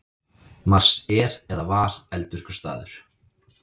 Mars er eða var eldvirkur staður.